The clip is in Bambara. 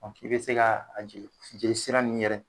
K'i bi se ka a jigin jeli sira nunnu yɛrɛ